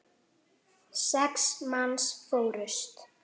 Já, en með kómísku ívafi.